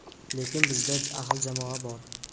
lekin bizda ahil jamoa bor.